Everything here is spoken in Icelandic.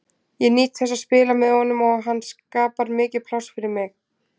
Ég nýt þess að spila með honum og hann skapar mikið pláss fyrir mig.